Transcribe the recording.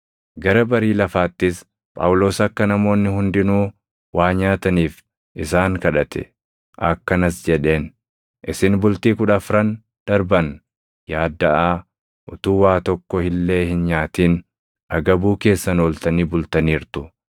Gara barii lafaattis Phaawulos akka namoonni hundinuu waa nyaataniif isaan kadhate; akkanas jedheen; “Isin bultii kudha afran darban yaaddaʼaa, utuu waa tokko illee hin nyaatin agabuu keessan ooltanii bultaniirtu.